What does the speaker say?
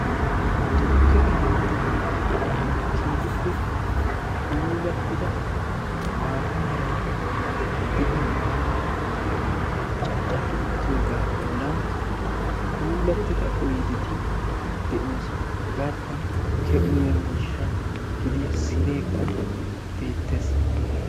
tukke keettan keehippe puulattida maata meray de'iyo maataa caccapi uttoogaa bollan puulattida oyideti de'oosona. hegaadan tukkiya uyiyoo miishsha gidiya sineekka beettes.